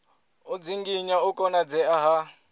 u dzinginya u konadzea ha